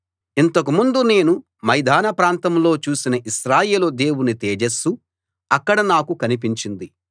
ఇంతకుముందు నేను మైదానప్రాంతంలో చూసిన ఇశ్రాయేలు దేవుని తేజస్సు అక్కడ నాకు కనిపించింది